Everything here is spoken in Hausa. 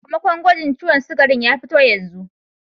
Sakamakon gwagin ciwon sugarin ya fito.